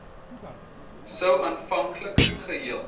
sou aanvanklik geheel